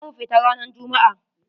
Za mu fita ranar jummu'a.